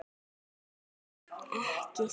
Verður ekki sagt.